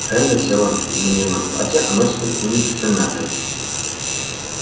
рэнда села мне на платье оно теперь будет все мятое